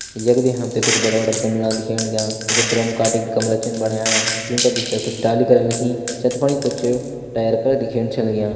यखदी हमते कुछ बड़ा-बड़ा गमला दिखयाण लाग्यां कुछ ड्रम काटी गमला छिन बण्यां जूँका भितर कुछ डाली कलन लगीं छेत्रपणि कुछ टायर का दिख्येण छां लाग्यां।